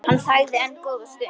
Hann þagði enn góða stund.